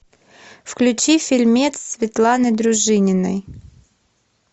включи фильмец светланы дружининой